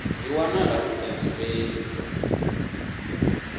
dzi wana hu sa dzhielwi